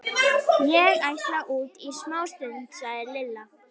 Ég ætla út í smástund, sagði Lilla.